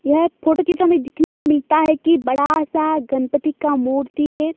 यह फोटो की तो में देखने को मिलता है कि बड़ा सा गनपति का मूर्ति है।